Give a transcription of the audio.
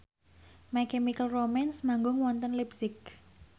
My Chemical Romance manggung wonten leipzig